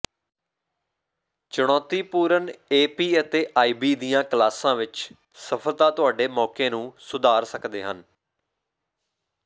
ਚੁਣੌਤੀਪੂਰਨ ਏਪੀ ਅਤੇ ਆਈਬੀ ਦੀਆਂ ਕਲਾਸਾਂ ਵਿਚ ਸਫਲਤਾ ਤੁਹਾਡੇ ਮੌਕੇ ਨੂੰ ਸੁਧਾਰ ਸਕਦੇ ਹਨ